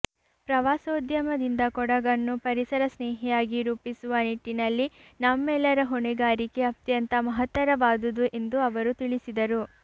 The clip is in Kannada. ಪ್ರವಾಸೋದ್ಯಮದಿಂದ ಕೊಡಗನ್ನು ಪರಿಸರ ಸ್ನೇಹಿಯಾಗಿ ರೂಪಿಸುವ ನಿಟ್ಟಿನಲ್ಲಿ ನಮ್ಮೆಲ್ಲರ ಹೊಣೆಗಾರಿಕೆ ಅತ್ಯಂತ ಮಹತ್ತರವಾದುದು ಎಂದು ಅವರು ತಿಳಿಸಿದರು